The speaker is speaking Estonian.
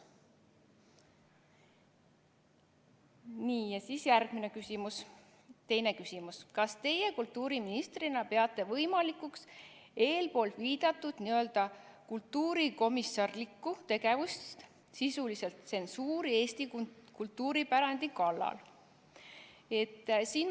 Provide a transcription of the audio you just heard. Teine küsimus: "Kas Teie kultuuriministrina peate võimalikuks eelpoolviidatud n.-ö. kultuurikomissarlikku tegevust, sisuliselt tsensuuri Eesti kunstipärandi kallal?